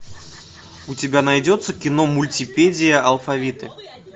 у тебя найдется кино мультипедия алфавиты